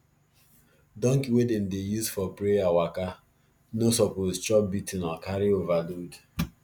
donkey wey dem dey use for prayer waka no suppose chop beating or carry overload